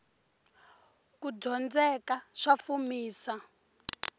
kudyondzeka sa fumisa